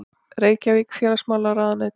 Reykjavík: Félagsmálaráðuneytið.